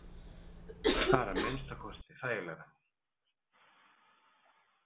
Það er að minnsta kosti þægilegra.